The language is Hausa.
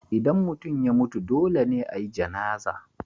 Idan mutum ya mutu, dole ne a yi Janazah.